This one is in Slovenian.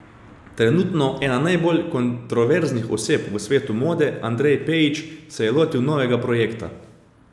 Trenutno ena najbolj kontroverznih oseb v svetu mode Andrej Pejić se je lotil novega projekta.